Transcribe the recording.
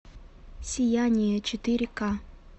сияние четыре ка